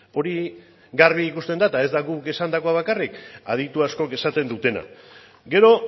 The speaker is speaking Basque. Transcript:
hori garbi ikusten da eta ez da guk esandakoa bakarrik aditu askok esaten dutena gero